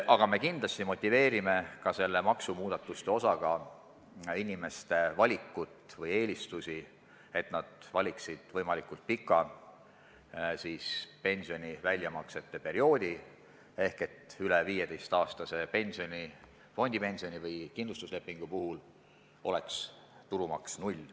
Ja kindlasti motiveerime selle maksumuudatusega inimesi valima võimalikult pikka pensioni väljamaksmise perioodi, sest üle 15-aastase pensioni-, fondipensioni- või kindlustuslepingu puhul oleks tulumaks null.